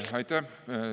Aitäh!